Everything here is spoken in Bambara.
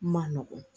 Ma nɔgɔ